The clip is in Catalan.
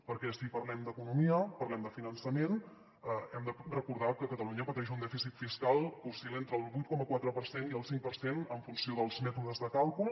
perquè si parlem d’economia parlem de finançament hem de recordar que catalunya pateix un dèficit fiscal que oscil·la entre el vuit coma quatre per cent i el cinc per cent en funció dels mètodes de càlcul